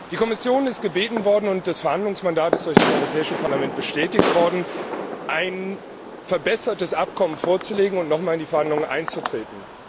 Die Kommission ist gebeten worden, und das Verhandlungsmandat ist durch das Europäische Parlament bestätigt worden, ein verbessertes Abkommen vorzulegen und nochmals in die Verhandlungen einzutreten.